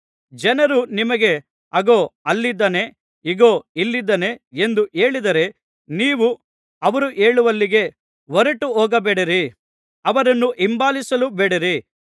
ಜನರು ನಿಮಗೆ ಅಗೋ ಅಲ್ಲಿದ್ದಾನೆ ಇಗೋ ಇಲ್ಲಿದ್ದಾನೆ ಎಂದು ಹೇಳಿದರೆ ನೀವು ಅವರು ಹೇಳುವಲ್ಲಿಗೆ ಹೊರಟುಹೋಗಬೇಡಿರಿ ಅವರನ್ನು ಹಿಂಬಾಲಿಸಲೂ ಬೇಡಿರಿ